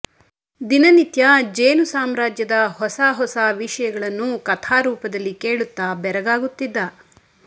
ದಿನನಿತ್ಯ ಜೇನು ಸಾಮ್ರ್ಯಾಜ್ಯದ ಹೊಸ ಹೊಸ ವಿಷಯಗಳನ್ನು ಕಥಾ ರೂಪದಲ್ಲಿ ಕೇಳುತ್ತಾ ಬೆರಗಾಗುತ್ತಿದ್ದ